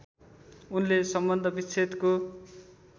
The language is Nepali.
उनले सम्बन्ध विच्छेदको